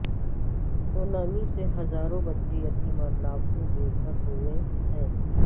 tsunami سے ہزاروں بچے یتیم اور لاکھوں بے گھر ہوئے ہیں